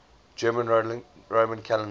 general roman calendar